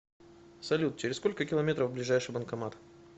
салют через сколько километров ближайший банкомат